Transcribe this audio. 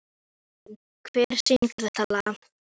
Sú sýn svipti síra Björn allri ró sinni.